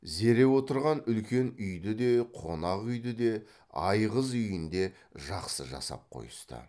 зере отырған үлкен үйді де қонақ үйді де айғыз үйін де жақсы жасап қойысты